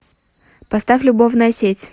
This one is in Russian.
поставь любовная сеть